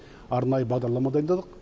арнайы бағдарлама дайындадық